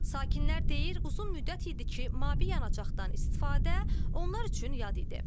Sakinlər deyir, uzun müddət idi ki, mavi yanacaqdan istifadə onlar üçün yad idi.